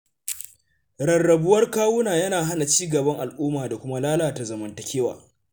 Rarrabuwar kawuna yana hana ci gaban al’umma da kuma lalata zamantakewa.